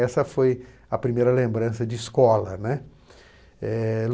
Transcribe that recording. Essa foi a primeira lembrança de escola, né. Eh